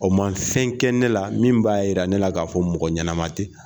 O ma fɛn kɛ ne la min b'a yira ne la k'a fɔ mɔgɔ ɲɛnama tɛ.